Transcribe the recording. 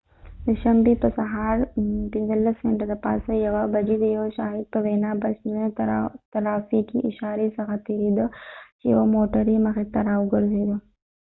د شنبی په سهار 1:15 بچې د یو شاهد په وينا بس د شنه ترافیکې اشاری څخه تیریده چې یوه موټر یې مخی ته راوګرځیده